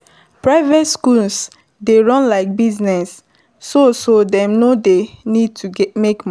private schools dey run like business so so dem go need to make money